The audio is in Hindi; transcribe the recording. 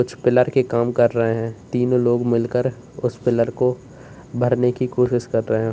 पिलर काम कर रहे हैं तीनों लोग मिलकर उस पिलर को भरने की कोशिश कर रहे हैं।